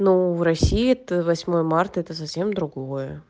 ну в россии то восьмое марта это совсем другое